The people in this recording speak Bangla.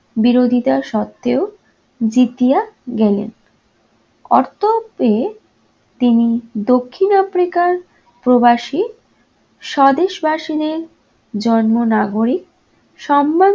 বিরোধিতা সত্ত্বেও জিতিয়া গেলেন। তিনি দক্ষিণ africa র প্রবাসী স্বদেশবাসীদের জন্ম নাগরিক সম্মান